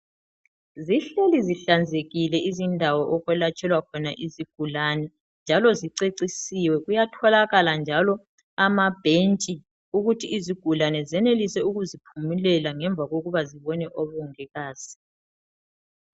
Zihleli zihlanzekile izindawo okwelatshelwa khona izigulane njalo zicecisiwe. Kuyatholakala njalo amabhentshi ukuthi izigulane zenelise ukuziphumulela ngemva kokuba zibone omongikazi.